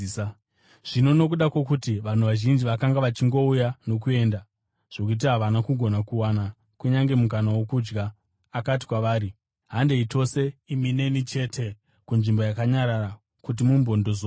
Zvino nokuda kwokuti vanhu vazhinji vakanga vachingouya nokuenda zvokuti havana kugona kuwana kunyange mukana wokudya, akati kwavari, “Handei tose, imi neni chete, kunzvimbo yakanyarara kuti mumbondozorora.”